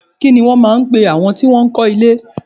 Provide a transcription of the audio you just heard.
Kini wọn máa ń pe àwọn tí wọn máa ń kọ́ ilé?